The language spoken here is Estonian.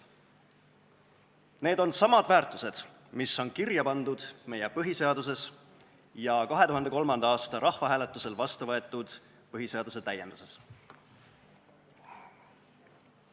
Need on samad väärtused, mis on kirja pandud meie põhiseaduses ja 2003. aasta rahvahääletusel vastuvõetud põhiseaduse täienduses.